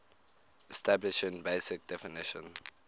establishing basic definition